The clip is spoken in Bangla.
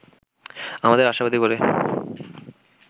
আমাদের আশাবাদী করে